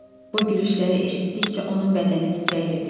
Bu gülüşləri eşitdikcə onun bədəni titrəyirdi.